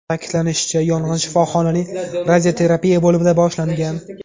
Ta’kidlanishicha, yong‘in shifoxonaning radioterapiya bo‘limida boshlangan.